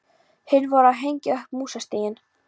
Hin voru að hengja upp músastiga.